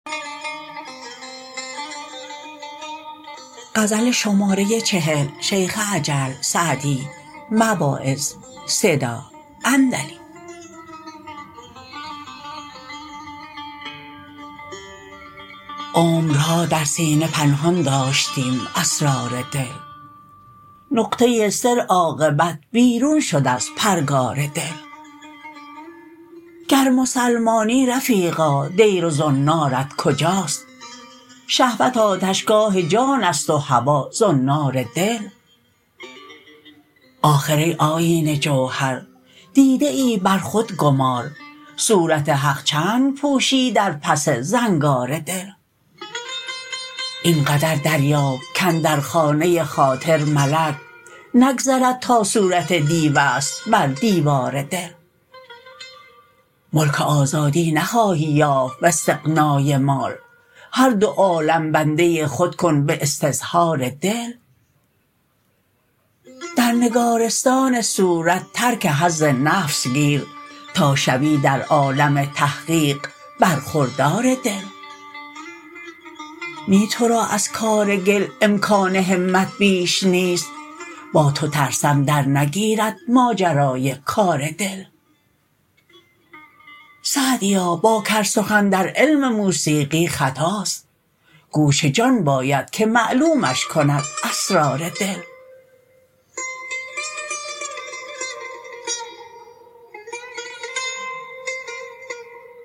عمرها در سینه پنهان داشتیم اسرار دل نقطه سر عاقبت بیرون شد از پرگار دل گر مسلمانی رفیقا دیر و زنارت کجاست شهوت آتشگاه جان است و هوا زنار دل آخر ای آیینه جوهر دیده ای بر خود گمار صورت حق چند پوشی در پس زنگار دل این قدر دریاب کاندر خانه خاطر ملک نگذرد تا صورت دیو است بر دیوار دل ملک آزادی نخواهی یافت واستغنای مال هر دو عالم بنده خود کن به استظهار دل در نگارستان صورت ترک حظ نفس گیر تا شوی در عالم تحقیق برخوردار دل نی تو را از کار گل امکان همت بیش نیست با تو ترسم درنگیرد ماجرای کار دل سعدیا با کر سخن در علم موسیقی خطاست گوش جان باید که معلومش کند اسرار دل